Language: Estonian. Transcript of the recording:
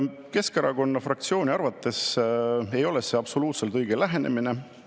Keskerakonna fraktsiooni arvates ei ole see absoluutselt õige lähenemine.